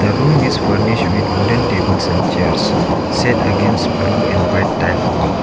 room is furnished with wooden tables and chairs set against blue and white tiled wall.